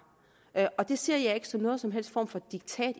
og det ser jeg ikke som nogen som helst form for diktat